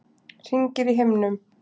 Hringir í himninum.